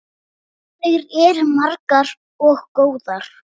Þær eru margar og góðar.